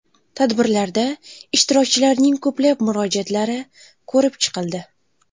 Tadbirlarda ishtirokchilarning ko‘plab murojaatlari ko‘rib chiqildi.